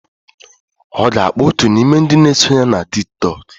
Ọ ga-akpọ otu n'ime ndị na-eso ya na Tiktok.